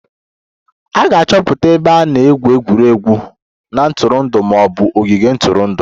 A ga-achọta ebe a na-egwu egwuregwu na ntụrụndụ ma ọ bụ ogige ntụrụndụ